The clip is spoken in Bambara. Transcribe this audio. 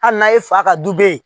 Hali n'a ye fa ka du be yen